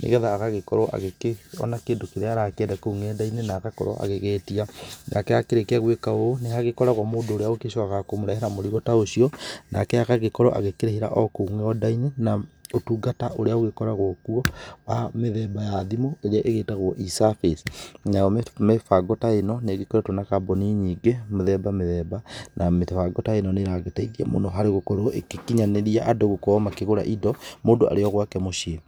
nĩgetha agagĩkorwo akĩona kĩndũ kĩrĩa aragĩkĩenda kũu nenda-inĩ na agagĩkorwo agĩgĩtia nake akĩrĩkĩa gwĩka ũũ nĩ hagĩkoragwo mũndũ ũrĩa ũgĩcokaga kũmũrehera mũrigo ta ũcio nake agagĩkorwo akĩrĩhira kũu nenda-inĩ na ũtũngata ũrĩa ũgĩkoragwo kũo wa mĩthemba ya thimũ ĩrĩa igĩtagwo E-service, nayo mĩbango ta ĩno nĩ ikoretwo na kambuni nyingĩ mĩthemba mĩthemba na mĩbango ta ino nĩ iragĩteithia mũno harĩ gũkorwo ĩgĩkinyanĩrĩa andũ gũkorwo makĩgũra indo mũndũ arĩ o gwake mũciĩ.